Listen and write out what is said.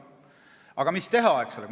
Aga mis teha, eks ole.